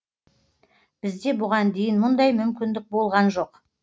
бізде бұған дейін мұндай мүмкіндік болған жоқ